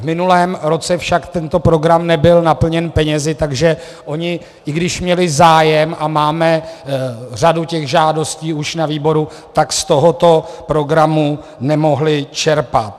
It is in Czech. V minulém roce však tento program nebyl naplněn penězi, takže oni, i když měli zájem, a máme řadu těch žádostí už na výboru, tak z tohoto programu nemohli čerpat.